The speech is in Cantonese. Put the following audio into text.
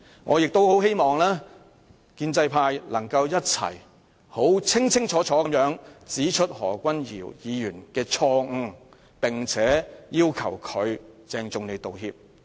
我亦希望建制派議員能夠一同清楚指出何君堯議員的錯誤，並要求他鄭重道歉。